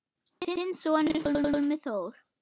Þinn sonur, Pálmi Þór.